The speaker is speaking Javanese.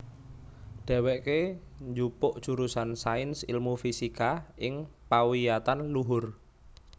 Dhèwèké njupuk jurusan Sains Ilmu Fisika ing pawiyatan luhur